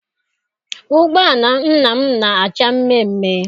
Ụgbọala nna m na-acha mmeemmee.